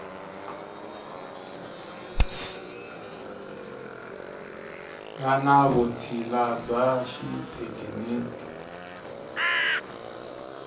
nga ni vutshila bya xithekiniki